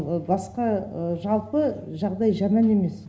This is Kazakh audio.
басқа жалпы жағдай жаман емес